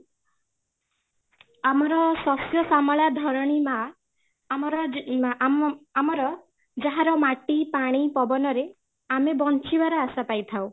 ଆମର ଶସ୍ୟ ଶ୍ୟାମଳ ଧରଣୀ ମାଁ ଆମର ଆମ ଆମର ଯାହାର ମାଟି ପାଣି ପବନ ରେ ଆମେ ବଞ୍ଚିବାର ଆଶା ପାଇ ଥାଉ